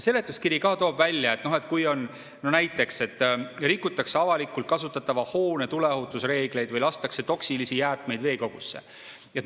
Seletuskiri ka toob välja, et kui näiteks rikutakse avalikult kasutatava hoone tuleohutusreegleid või lastakse toksilisi jäätmeid veekogusse.